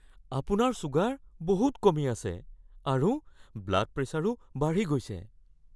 আপোনাৰ ছুগাৰ বহুত কমি আছে আৰু ব্লাড প্ৰেছাৰো বাঢ়ি গৈছে।